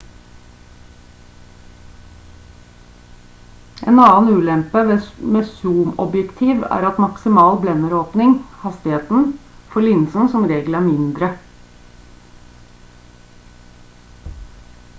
en annen ulempe med zoomobjektiv er at maksimal blenderåpning hastigheten for linsen som regel er mindre